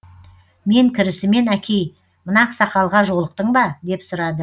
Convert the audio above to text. мен кірісімен әкей мына ақсақалға жолықтың ба деп сұрады